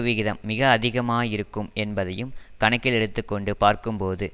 விகிதம் மிக அதிகமாகயிருக்கும் என்பதையும் கணக்கில் எடுத்து கொண்டு பார்க்கும்போது